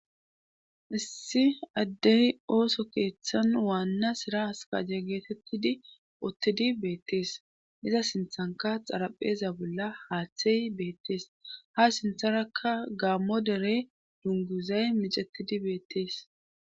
Issi addey ooso keeththan waanna sira askaje geetettidi ottidi beettees iza sinthanka xarapheza bolla haaththey beettees ha sintharakka gaammo dere dunguzay micetidi beettees